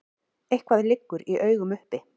Eitthvað liggur í augum uppi